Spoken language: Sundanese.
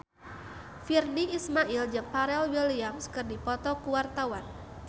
Virnie Ismail jeung Pharrell Williams keur dipoto ku wartawan